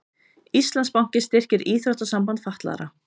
Íslandsbanki styrkir Íþróttasamband fatlaðra